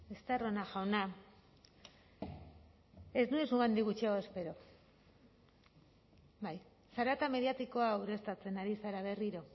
estarrona jauna ez nuen zuregandik gutxiago espero bai zarata mediatikoa ureztatzen ari zara berriro